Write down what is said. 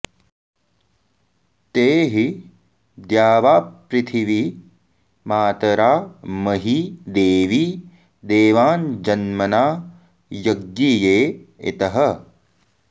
ते हि द्यावा॑पृथि॒वी मा॒तरा॑ म॒ही दे॒वी दे॒वाञ्जन्म॑ना य॒ज्ञिये॑ इ॒तः